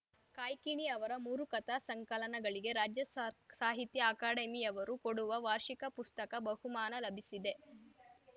ಕಾಯ್ಕಿಣಿ ಅವರ ಮೂರು ಕಥಾ ಸಂಕಲನಗಳಿಗೆ ರಾಜ್ಯ ಸಾಹ್ ಸಾಹಿತ್ಯ ಅಕಾಡೆಮಿಯವರು ಕೊಡುವ ವಾರ್ಷಿಕ ಪುಸ್ತಕ ಬಹುಮಾನ ಲಭಿಸಿದೆ